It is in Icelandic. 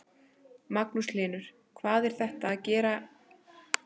Magnús Hlynur: Og hvað er þetta að gefa ykkur að vera í þessu?